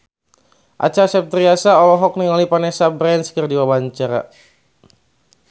Acha Septriasa olohok ningali Vanessa Branch keur diwawancara